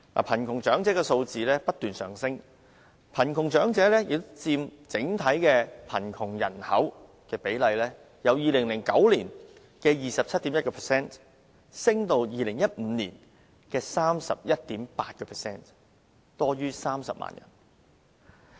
貧窮長者的數字不斷上升，貧窮長者佔整體貧窮人口的比例由2009年的 27.1% 上升至2015年的 31.8%， 多於30萬人。